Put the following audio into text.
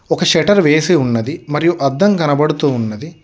ఒక షెటర్ వేసి ఉన్నది మరియు అద్దం గనబడుతూ ఉన్నది.